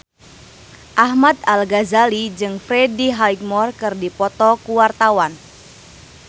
Ahmad Al-Ghazali jeung Freddie Highmore keur dipoto ku wartawan